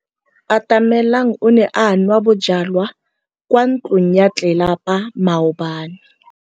Atamelang o ne a nwa bojwala kwa ntlong ya tlelapa maobane.